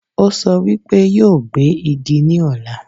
Ó sọ wípé yóò gbé Igi ní ọ̀la